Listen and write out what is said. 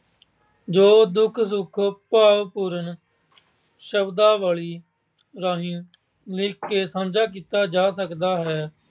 ਜੋ ਦੁੱਖ ਸੁੱਖ ਭਾਵਪੂਰਨ ਸ਼ਬਦਾਵਲੀ ਰਾਹੀਂ ਵੇਖ ਕੇ ਸਾਂਝਾ ਕੀਤਾ ਜਾ ਸਕਦਾ ਹੈ।